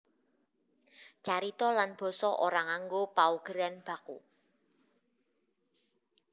Carita lan basa ora nganggo paugeran baku